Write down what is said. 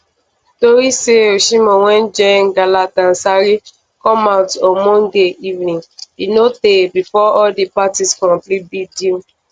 tori say osimhen wan join galatasaray come out on monday evening e no tey bifor all di parties complete di deal